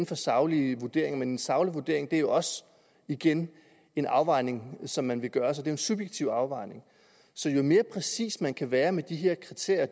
for saglige vurderinger men en saglig vurdering er jo også igen en afvejning som man gør sig det en subjektiv afvejning så jo mere præcis man kan være med de her kriterier